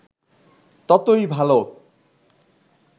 ততই ভাল